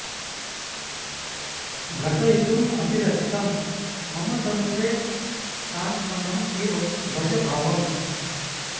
घटयितुं अभिलषितं मम तनुते सान्त्वनं इव भज भावम्